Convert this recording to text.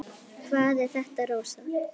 Hvað er þetta, Rósa?